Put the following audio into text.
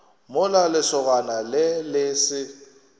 mola lesogana le le se